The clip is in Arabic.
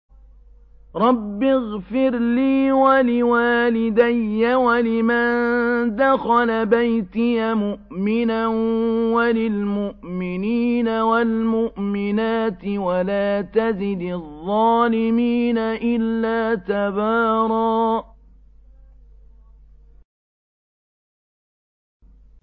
رَّبِّ اغْفِرْ لِي وَلِوَالِدَيَّ وَلِمَن دَخَلَ بَيْتِيَ مُؤْمِنًا وَلِلْمُؤْمِنِينَ وَالْمُؤْمِنَاتِ وَلَا تَزِدِ الظَّالِمِينَ إِلَّا تَبَارًا